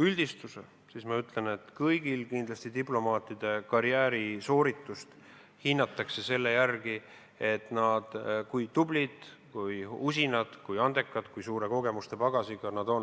üldistuse, siis võin öelda, et kindlasti kõigi diplomaatide karjäärisooritust hinnatakse selle järgi, kui tublid, usinad, andekad ja kui suure kogemusepagasiga nad on.